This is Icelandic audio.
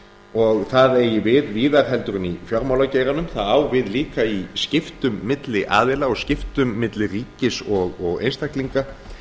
og það eigi við víðar heldur en í fjármálageiranum það á við líka í skiptum milli aðila og skiptum milli ríkis og einstaklinga